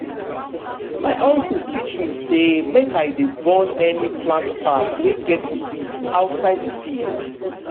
my uncle teach me say make i dey burn any plant part wey get disease outside the field.